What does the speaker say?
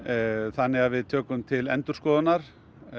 þannig að við tökum til endurskoðunar